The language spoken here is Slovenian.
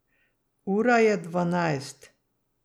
Ura je dvanajst.